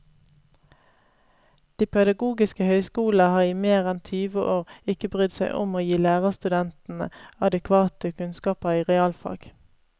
De pedagogiske høyskolene har i mer enn tyve år ikke brydd seg om å gi lærerstudentene adekvate kunnskaper i realfag.